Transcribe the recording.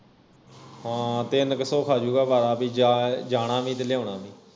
ਹਾਂ ਤਿੰਨ ਕਿ ਸੌ ਰੁਪਿਆ ਖਾ ਜੂਗਾ ਵਾਰਾ ਬਈ ਜਾ ਜਾਣਾ ਵੀ ਤੇ ਲਿਆਉਣਾ ਵੀ